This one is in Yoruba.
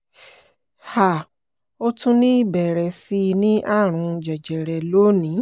um ó tún ní ìbẹ̀rẹ̀ sí í ní àrùn jẹjẹrẹ lónìí